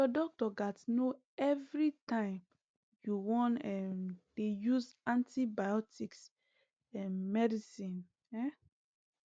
ur doctor gats know everytime u wan um dey use antibiotics um medicine um